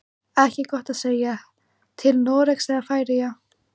Ekki gott að segja, til Noregs eða Færeyja.